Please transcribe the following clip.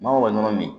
N'anw ka ɲɔnɔnɔ min